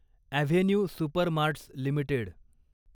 avenue supermarts limited